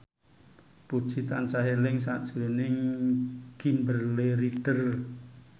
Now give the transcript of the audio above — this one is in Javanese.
Puji tansah eling sakjroning Kimberly Ryder